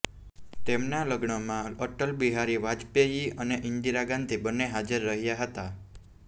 તેમનાં લગ્નમાં અટલ બિહારી વાજપેયી અને ઇંદિરા ગાંધી બંને હાજર રહ્યાં હતાં